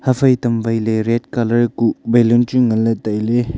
ha phai tam wai ley red colour kuh chu baloon chu ngan ley tai ley.